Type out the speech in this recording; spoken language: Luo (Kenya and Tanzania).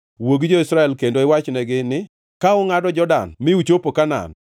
“Wuo gi jo-Israel kendo iwachnegi ni: ‘Ka ungʼado Jordan mi uchopo Kanaan,